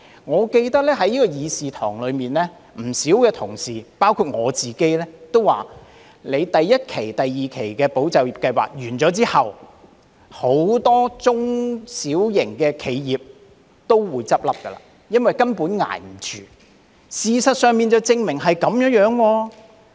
我記得在議事堂內，有不少同事包括我亦曾指出，當第一期及第二期"保就業"計劃結束後，將會有很多中小型企業倒閉，因為它們根本捱不下去，而事實也證明的確是這樣。